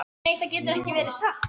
Nei, það getur ekki verið satt.